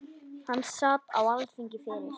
Hann sat á Alþingi fyrir